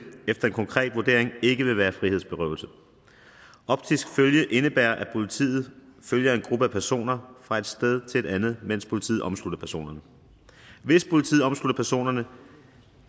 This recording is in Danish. efter en konkret vurdering ikke vil være frihedsberøvelse optisk følge indebærer at politiet følger en gruppe af personer fra et sted til et andet mens politiet omslutter personerne hvis politiet omslutter personerne